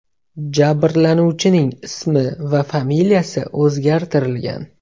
Jabrlanuvchining ismi va familiyasi o‘zgartirilgan .